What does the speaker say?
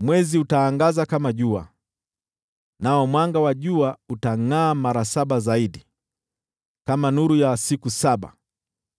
Mwezi utaangaza kama jua, nao mwanga wa jua utangʼaa mara saba zaidi, kama nuru ya siku saba,